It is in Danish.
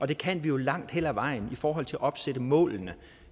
det kan vi jo langt hen ad vejen i forhold til at opsætte målene